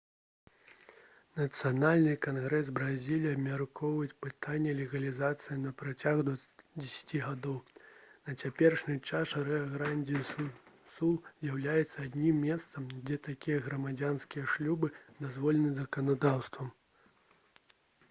нацыянальны кангрэс бразіліі абмяркоўваў пытанне легалізацыі на працягу 10 гадоў на цяперашні час рыа-грандзі-ду-сул з'яўляецца адзіным месцам дзе такія грамадзянскія шлюбы дазволены заканадаўствам